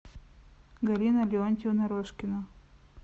галина леонтьевна рожкина